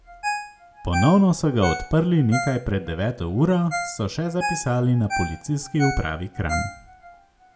Ponovno so ga odprli nekaj pred deveto uro, so še zapisali na Policijski upravi Kranj.